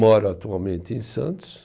Moro atualmente em Santos.